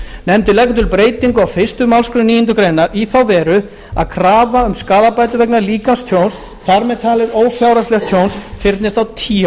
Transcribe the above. nefndin leggur til breytingu á fyrstu málsgrein níundu grein í þá veru að krafa um skaðabætur vegna líkamstjóns þar með talin fyrir ófjárhagslegt tjón fyrnist á tíu